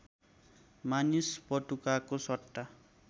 मानिस पटुकाको सट्टा